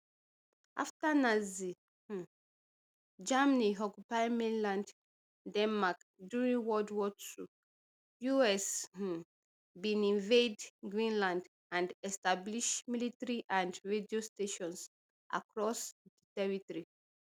afta nazi um germany occupy mainland denmark during world war ii us um bin invade greenland and establish military and radio stations across di territory